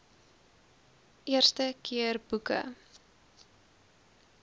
eerste keer boeke